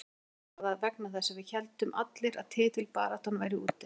Kannski var það vegna þess að við héldum allir að titilbaráttan væri úti.